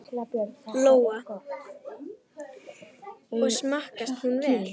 Lóa: Og smakkast hún vel?